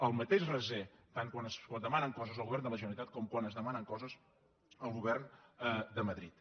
el mateix raser tant quan es dema·nen coses al govern de la generalitat com quan es de·manen coses al govern de madrid